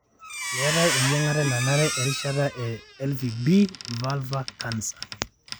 meetae eyiangata nanare e erishata e Ivb vulvur canser.